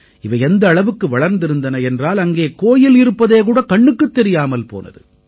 இவை எந்த அளவுக்கு வளர்ந்திருந்தன என்றால் அங்கே கோயில் இருப்பதேகூட கண்ணுக்குத் தெரியாமல் போனது